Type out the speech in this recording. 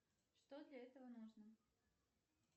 что для этого нужно